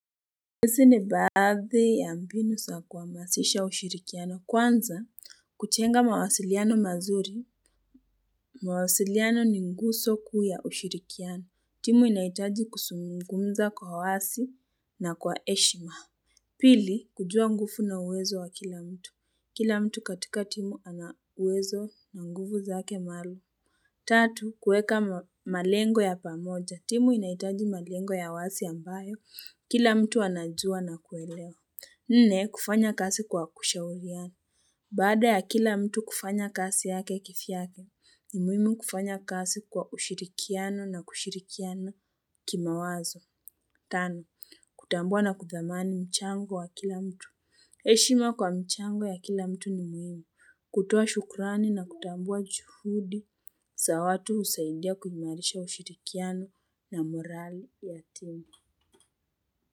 Hizi ni baadhi ya mbinu sa kuhamasisha ushirikiano kwanza kujenga mawasiliano mazuri mawasiliano ni nguso kuu ya ushirikiano timu inahitaji kuzumungumza kwa wasi na kwa heshima Pili kujua nguvu na uwezo wa kila mtu kila mtu katika timu ana uwezo na nguvu zake maalum Tatu, kuweka malengo ya pamoja. Timu inahitaji malengo ya wasi ambayo, kila mtu anajua na kuelewa. Nne, kufanya kazi kwa kushauliana. Baada ya kila mtu kufanya kazi yake kivyake, ni muhimu kufanya kazi kwa ushirikiano na kushirikiana kimawazo. Tano, kutambua na kuthamani mchango wa kila mtu. Heshima kwa mchango ya kila mtu ni muhimu. Kutoa shukurani na kutambua juhudi. Za watu husaidia kuimalisha ushirikiano na morali ya timu.